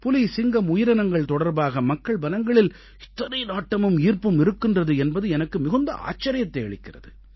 புலி சிங்கம் உயிரினங்கள் தொடர்பாக மக்கள் மனங்களில் இத்தனை நாட்டமும் ஈர்ப்பும் இருக்கின்றது என்பது எனக்கு மிகுந்த ஆச்சரியத்தை அளிக்கிறது